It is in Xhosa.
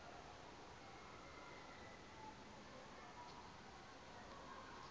iyilo iphu hlise